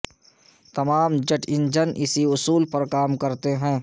تمام jet engine اسی اصول پر کام کرتے ہیں